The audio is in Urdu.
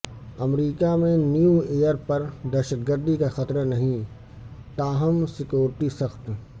امریکا میں نیو ایئر پر دہشت گردی کا خطرہ نہیں تاپم سیکیورٹی سخت